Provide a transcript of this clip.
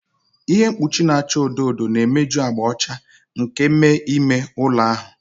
Ihe mkpuchi na-acha odo odo na-emeju agba ọcha nke me ime ụlọ ahụ.